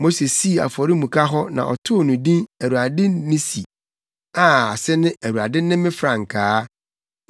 Mose sii afɔremuka hɔ na ɔtoo no din Awurade Nissi a ase ne Awurade ne me frankaa.